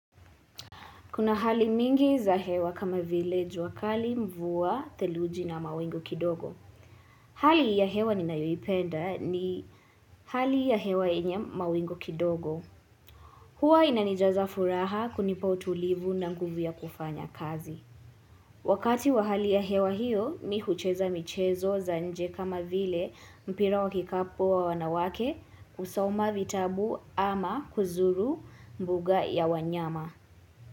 Kuna hali mingi za hewa kama vile juakali mvua, theluji na mawingu kidogo. Hali ya hewa ni nayoipenda ni hali ya hewa yenye mawingu kidogo. Huwa inanijaza furaha kunipa utulivu na nguvuya kufanya kazi. Wakati wa hali ya hewa hiyo, mihucheza michezo za nje kama vile mpira wakikapu wa wanawake kusoma vitabu ama kuzuru mbuga ya wanyama.